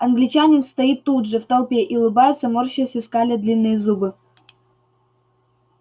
англичанин стоит тут же в толпе и улыбается морщась и скаля длинные зубы